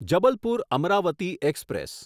Jabalpur Amravati express